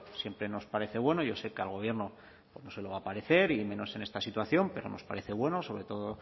siempre nos parece bueno yo sé que al gobierno se lo va a parecer y menos en esta situación pero nos parece bueno sobre todo